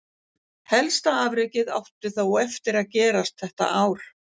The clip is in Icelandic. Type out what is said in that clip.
Helsta afrekið átti þó eftir gerast þetta ár.